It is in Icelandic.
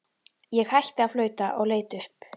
Ég hætti að flauta og leit upp.